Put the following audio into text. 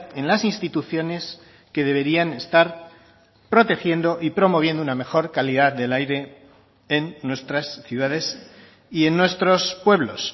en las instituciones que deberían estar protegiendo y promoviendo una mejor calidad del aire en nuestras ciudades y en nuestros pueblos